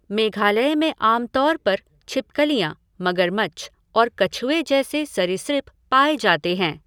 मेघालय में आम तौर पर छिपकलियाँ, मगरमच्छ और कछुए जैसे सरीसृप पाए जाते हैं।